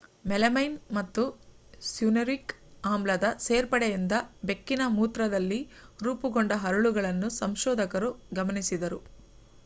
melamine ಮತ್ತು cyanuric ಆಮ್ಲದ ಸೇರ್ಪಡೆಯಿಂದ ಬೆಕ್ಕಿನ ಮೂತ್ರದಲ್ಲಿ ರೂಪುಗೊಂಡ ಹರಳುಗಳನ್ನು ಸಂಶೋಧಕರು ಗಮನಿಸಿದರು